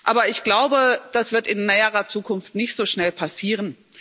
Aber ich glaube, das wird in näherer Zukunft nicht so schnell passieren.